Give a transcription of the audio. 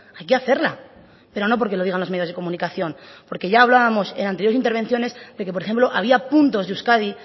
hay que hacerla pero no porque lo digan los medios de comunicación porque ya hablábamos en anteriores intervenciones de que por ejemplo había puntos de euskadi